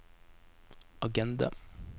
agenda